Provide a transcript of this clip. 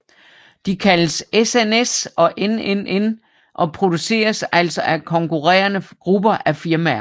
De kaldes SNS og NNN og produceres altså af konkurrende grupper af firmaer